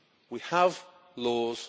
We have laws